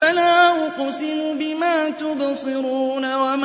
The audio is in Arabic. فَلَا أُقْسِمُ بِمَا تُبْصِرُونَ